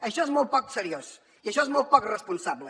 això és molt poc seriós i això és molt poc responsable